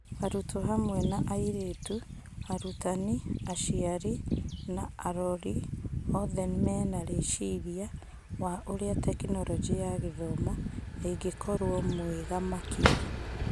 Arutwo hamwe na airĩtu, arutani, aciari na arori, othe menarĩciria wa ũrĩa Tekinoronjĩ ya Gĩthomo ĩngĩkorwo mwega makĩria.